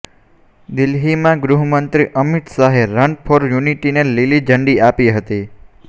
દિલ્હીમાં ગૃહમંત્રી અમિત શાહે રન ફોર યુનિટીને લીલી ઝંડી આપી હતી